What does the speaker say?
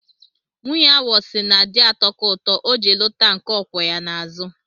Nwunye awọ sị na di atọka ụtọ, o ji lụta nke ọ kwọ ya n'azụ.